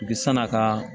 Bi sanna ka